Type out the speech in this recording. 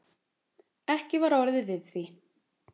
Ekki var orðið við því